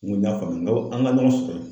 N ko n ɲ'a faamu n ko an ka ɲɔgɔn sɔrɔ ye.